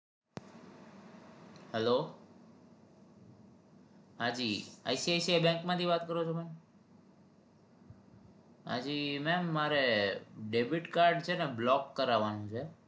hello હાજી ICICI bank માંથી વાત કરો છો તમે હાજી ma'am મારે debit card છે ને block કરાવાનું છે